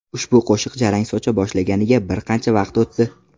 Ushbu qo‘shiq jarang socha boshlaganiga bir qancha vaqt o‘tdi.